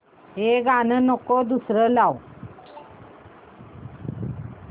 हे गाणं नको दुसरं लाव